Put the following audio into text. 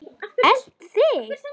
Elt þig?